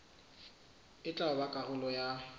e tla ba karolo ya